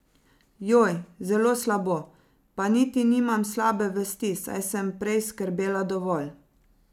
Joj, zelo slabo, pa niti nimam slabe vesti, saj sem prej skrbela dovolj.